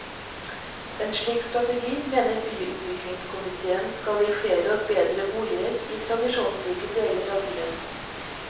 En slik strategi mener byutviklingskomitéen skal gi flere og bedre boliger i tradisjonsrike deler av byen.